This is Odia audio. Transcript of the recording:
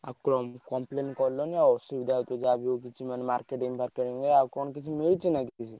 ଆଉ complain କଲନି ଆଉ ଅସୁବିଧା ହେଇଥିବ ଯାହା ବି ହଉ କିଛି ମାନେ marketing ଫାରକେଟିଙ୍ଗ ରେ ଆଉ କଣ କିଛି ମିଳୁଛି ନା କିଛି।